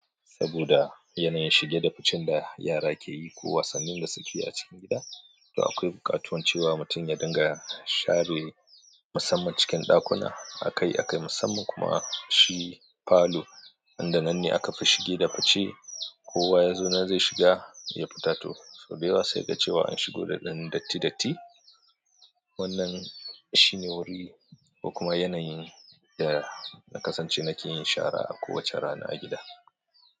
Saboda yanayin shige da fice da yara ke yi ko wasannin da suke yi a cikin gida, to akwai buƙatuwance wa mutum ya dinga share musamman cikin ɗakuna. Akai akai musamman kuma shi falo inda nan ne aka fi shige da fice. Ko wa yazo nan zai shiga ya fita to sau da yawa sai ka ce wa an shigo da ɗan datti datti. Wannan shi ne wuri da kuma yanayin da na kasance nake yin shara a kowace rana a gida.